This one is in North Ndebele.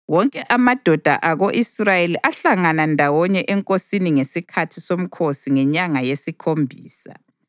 Wonke amadoda ako-Israyeli ahlangana ndawonye enkosini ngesikhathi somkhosi ngenyanga yesikhombisa.